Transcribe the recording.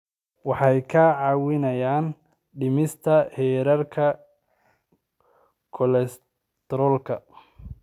Waxay kaa caawinayaan dhimista heerarka kolestaroolka.